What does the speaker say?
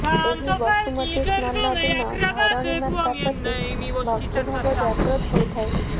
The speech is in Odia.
ଏହି ବସୁମତୀ ସ୍ନାନ ଦିନ ଧରଣୀ ମାତା ପ୍ରତି ଭକ୍ତିଭାବ ଜାଗ୍ରତ ହୋଇଥାଏ